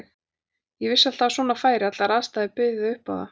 Ég vissi alltaf að svona færi, allar aðstæður buðu upp á það.